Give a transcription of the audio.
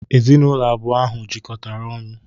Ezinụlọ abụọ ahụ jikọtara ọnụ.